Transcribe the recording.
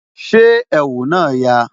Ṣé ẹ̀wù náà yà?